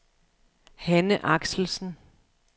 Hanne Axelsen